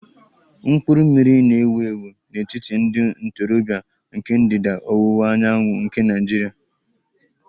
Mkpụrụ mmiri na-ewu ewu n'etiti ndị ntorobịa nke ndịda ọwụwa anyanwụ nke Nigeria